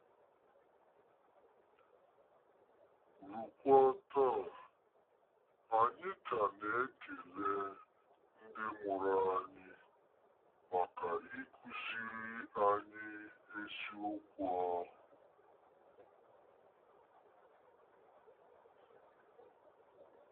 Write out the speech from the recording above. Ruokwa taa, anyị ka na-ekele ndị mụrụ anyị maka ịkụziri anyị eziokwu ahụ.